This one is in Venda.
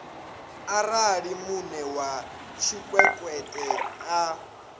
arali muṋe wa tshikwekwete a